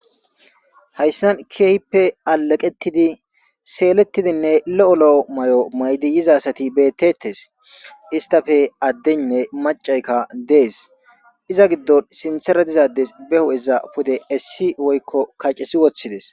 Hayssan keehippe alaqettidi seelettidinne lo'o lo'o may'o maydi yizasati beettettes istafe addeynne macayka dees iza giddon sintera dizades be hu7eza pude essi woykko kaccesi woththides.